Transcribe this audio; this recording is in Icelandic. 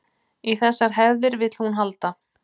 Í þessar hefðir vill hún halda